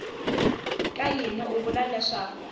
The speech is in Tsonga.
ka yini u vula leswaku